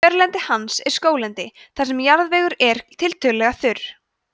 kjörlendi hans er skóglendi þar sem jarðvegur er tiltölulega þurr